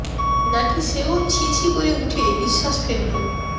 নাকি সেও ছি ছি করে উঠে নিশ্বাস ফেলল